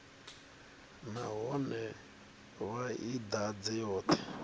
nahone vha i ḓadze yoṱhe